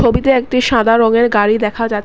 ছবিতে একটি সাদা রংয়ের গাড়ি দেখা যাচ--